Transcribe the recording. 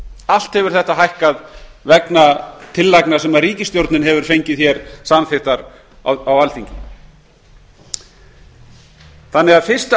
allt hefur þetta hækkað vegna tillagna sem ríkisstjórnin hefur fengið samþykktar hér á alþingi fyrstu